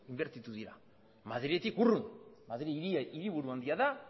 inbertitu dira madriletik urrun madril hiriburu handia da